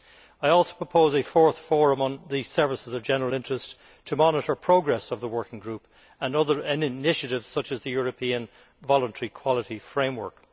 I also propose a fourth Forum on Services of General Interest to monitor progress of the working group and other initiatives such as the European Voluntary Quality Framework.